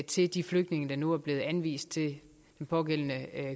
til de flygtninge der nu er blevet anvist til den pågældende